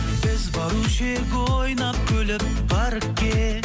біз барушы едік ойнап күліп паркке